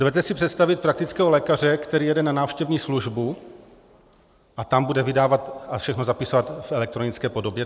Dovedete si představit praktického lékaře, který jede na návštěvní službu a tam bude vydávat a všechno zapisovat v elektronické podobě?